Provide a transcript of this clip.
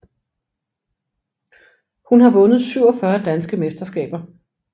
Hun har vundet 47 danske mesterskaber